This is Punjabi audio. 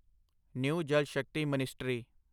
new Jal Shakti ministry